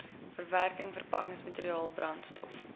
verwerking verpakkingsmateriaal brandstof